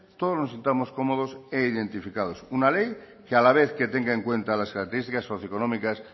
todos nos sintamos cómodos e identificados una ley que a la vez que tenga en cuenta las características socioeconómicas